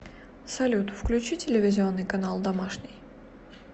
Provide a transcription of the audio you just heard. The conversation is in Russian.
салют включи телевизионный канал домашний